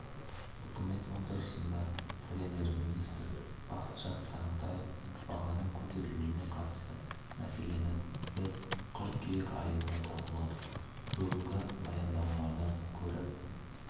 үкімет отырысында премьер-министр бақытжан сағынтаев бағаның көтерілуіне қатысты мәселені біз қыркүйек айында талқыладық бүгінгі баяндамалардан көріп